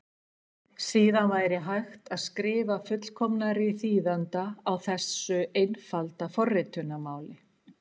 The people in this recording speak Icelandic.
Síðan væri hægt að skrifa fullkomnari þýðanda á þessu einfaldaða forritunarmáli.